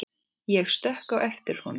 Ég stökk á eftir honum.